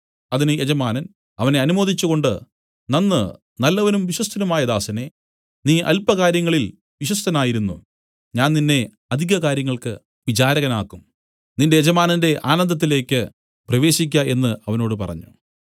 അതിന് യജമാനൻ അവനെ അനുമോദിച്ചുകൊണ്ട് നന്ന് നല്ലവനും വിശ്വസ്തനുമായ ദാസനേ നീ അല്പകാര്യങ്ങളിൽ വിശ്വസ്തനായിരുന്നു ഞാൻ നിന്നെ അധിക കാര്യങ്ങൾക്ക് വിചാരകനാക്കും നിന്റെ യജമാനന്റെ ആനന്ദത്തിലേക്ക് പ്രവേശിക്ക എന്നു അവനോട് പറഞ്ഞു